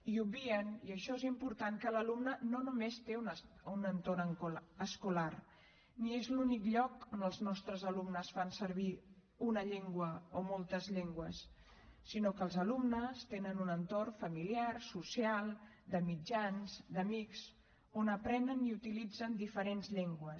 i obvien i això és important que l’alumne no només té un entorn escolar ni és l’únic lloc on els nostres alumnes fan servir una llengua o moltes llengües sinó que els alumnes tenen un entorn familiar social de mitjans d’amics on aprenen i utilitzen diferents llengües